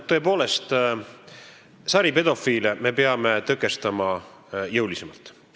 Tõepoolest, saripedofiile peame tõkestama jõulisemalt.